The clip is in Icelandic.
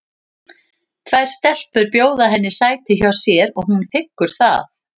Tvær stelpur bjóða henni sæti hjá sér og hún þiggur það.